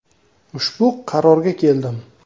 Ushbu qarorga keldim.